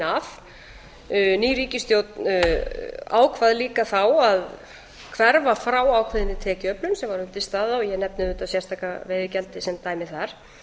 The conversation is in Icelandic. af ný ríkisstjórn ákvað líka þá að hverfa frá ákveðinni tekjuöflun sem var undirstaða og ég nefni þetta sérstaka veiðigjald sem dæmi þar